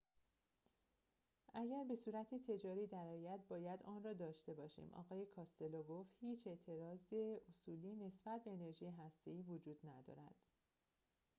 اگر به صورت تجاری درآید باید آن‌را داشته باشیم آقای کاستلو گفت هیچ اعتراض اصولی نسبت به انرژی هسته‌ای وجود ندارد